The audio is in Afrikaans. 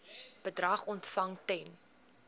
bedrag ontvang ten